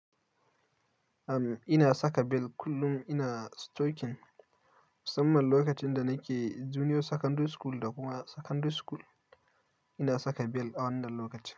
Am, ina saka bel kullum ina stoking. Musamman lokacin da nake junior secondary school da kuma secondary school ina saka bel a wannan lokacin.